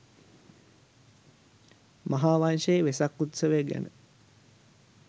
මහාවංශයේ වෙසක් උත්සවය ගැන